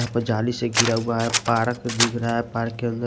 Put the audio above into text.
यहां पर जाली से घिरा हुआ है पार्क दिख रहा है पार्क के अंदर --